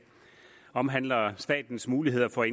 omhandler statens muligheder for